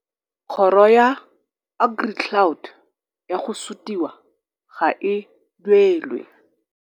Kgoro ya AgriCloud ya go sutiwa ga e duelwe.